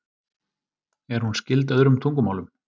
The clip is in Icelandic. Er hún skyld öðrum tungumálum?